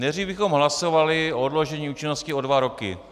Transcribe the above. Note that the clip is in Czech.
Nejdřív bychom hlasovali o odložení účinnosti o dva roky.